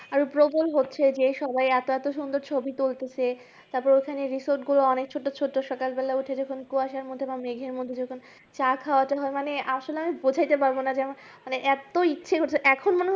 আরো প্রবল হচ্ছে যে সবাই এত এত ছবি তুলতেছে তারপরে ওখানকার resort গুলো অনেক ছোট ছোট সকাল বেলায় উঠে যখন কুয়াশার মধ্যে মেঘের মধ্যে চা খাওয়াতে হয় মানে আসলে আমি বোঝাইতে পারবোনা মানে এত ইচ্ছে করছে মানে